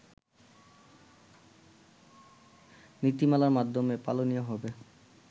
নীতিমালার মাধ্যমে পালনীয় হবে